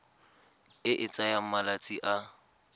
e e tsayang malatsi a